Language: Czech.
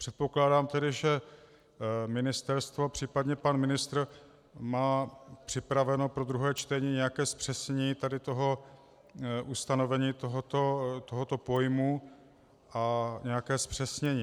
Předpokládám tedy, že ministerstvo, případně pan ministr, má připraveno pro druhé čtení nějaké zpřesnění tady toho ustanovení, tohoto pojmu, a nějaké zpřesnění.